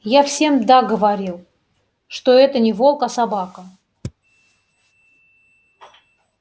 я всем да говорил что это не волк а собака